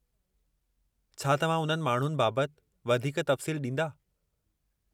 छा तव्हां उन्हनि माण्हुनि बाबति वधीक तफ़सील ॾींदा?